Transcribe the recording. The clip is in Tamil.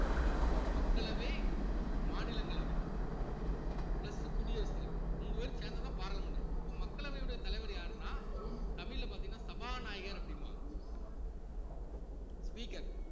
மக்களவை, மாநிலங்களவை plus உ குடியரசு தலைவர் மூணு பேரும் சேர்ந்ததுதான் பாராளுமன்றம் அப்போ மக்களவையுடைய தலைவர் யாருன்னா தமிழ்ல பாத்தீங்கன்னா சபாநாயகர் அப்படிம்பாங்க speaker